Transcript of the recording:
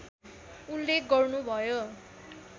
उल्लेख गर्नुभयो